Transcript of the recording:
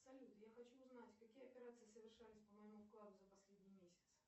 салют я хочу узнать какие операции совершались по моему вкладу за последний месяц